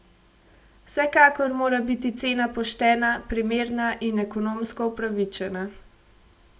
Vsekakor mora biti cena poštena, primerna in ekonomsko upravičena.